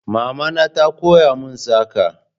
Mama na ta koya mun saƙa